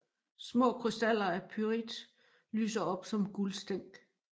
Små krystaller af pyrit lyser op som guldstænk